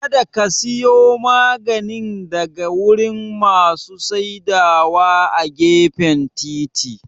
Kada ka siya maganin daga wurin masu saidawa a gefen titi